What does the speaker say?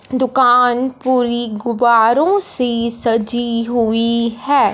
दुकान पुरी गुब्बारों से सजी हुई है।